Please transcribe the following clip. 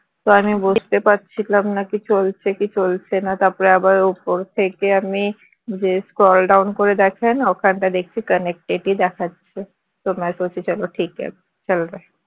তো আমি বুঝতে পারছিলাম না যে চলছে কি চলছে না তারপর আবার ওপর থেকে আমি যে scroll down করে দেখে না ওখানটায় দেখছি connected ই দেখাচ্ছে